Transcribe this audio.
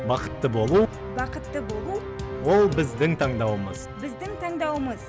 бақытты болу бақытты болу ол біздің таңдауымыз біздің таңдауымыз